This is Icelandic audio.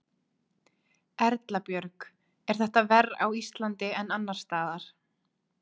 Erla Björg: Er þetta verr á Íslandi en annars staðar?